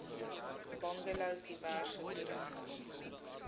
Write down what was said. bungalows diverse toerusting